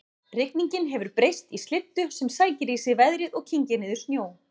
Rigningin hefur breyst í slyddu sem sækir í sig veðrið og kyngir niður snjó